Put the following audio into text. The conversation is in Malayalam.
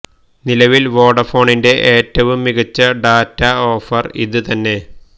നിലവിൽ വൊഡാഫോണിന്റെ ഏറ്റവും മികച്ച ഡാറ്റ ഓഫർ ഇത് തന്നെ